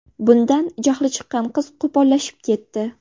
Bundan jahli chiqqan qiz qo‘pollashib ketdi.